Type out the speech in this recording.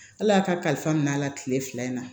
Ala y'a ka kalifa minɛ a la kile fila in na